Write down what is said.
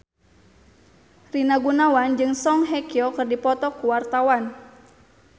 Rina Gunawan jeung Song Hye Kyo keur dipoto ku wartawan